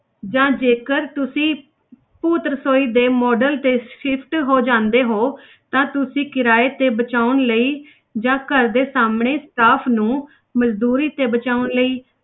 ਜਾਂ ਜੇਕਰ ਤੁਸੀਂ ਭੂਤ ਰਸੋਈ ਦੇ model ਤੇ shift ਹੋ ਜਾਂਦੇ ਹੋ ਤਾਂ ਤੁਸੀਂ ਕਿਰਾਏ ਤੇ ਬਚਾਉਣ ਲਈ ਜਾਂ ਘਰ ਦੇ ਸਾਹਮਣੇ staff ਨੂੰ ਮਜ਼ਦੂਰੀ ਤੇ ਬਚਾਉਣ ਲਈ